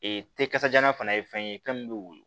Ee te kasajalan fana ye fɛn ye fɛn min bɛ woyo